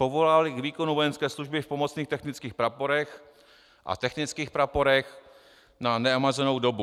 povolával k výkonu vojenské služby v Pomocných technických praporech a Technických praporech na neomezenou dobu.